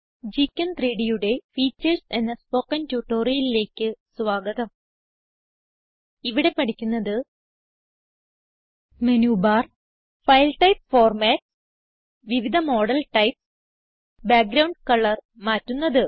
GChem3Dയുടെ features എന്ന spoken ട്യൂട്ടോറിയലിലേക്ക് സ്വാഗതം ഇവിടെ പഠിക്കുന്നത് menu bar file type formats വിവിധ മോഡൽ ടൈപ്സ് ബാക്ക്ഗ്രൌണ്ട് കളർ മാറ്റുന്നത്